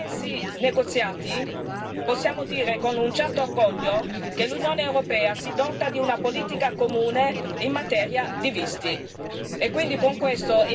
Ecco, dopo quattro anni di intensi negoziati, possiamo dire con un certo orgoglio che l'Unione europea si dota di una politica comune in materia di visti.